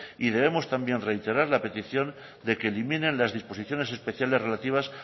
y debemos también reiterar la petición de que eliminen las disposiciones especiales relativas